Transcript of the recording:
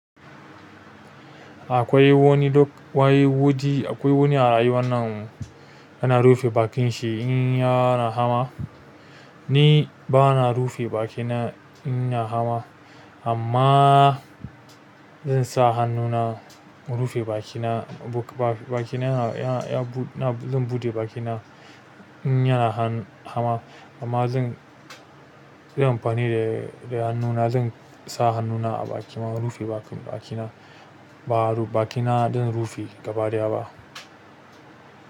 Akwai wani duk. Wai wudi akwai wani a rayuwan nan yana rufe bakin shi in yana hama. Ni ba na rufe bakina inna hama amma zan sa hannuna in rufe bakina. Buk ba bakina ya, ya, na zan buɗe bakina in yana han hama. Amma zan, zanyi amfani da, da hannuna zan sa hannuna a baki ma rufe bakin bakina. Baru bakina zan rufe gaba ɗaya ba.